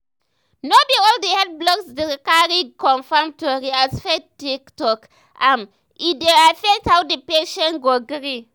no be all the health blogs dey cari confirm tori as faith take talk am e dey affect how the patient go gree.